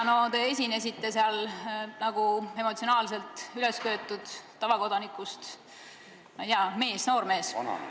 Te esinesite seal nagu emotsionaalselt ülesköetud tavakodanikust, ma ei tea, mees, noormees.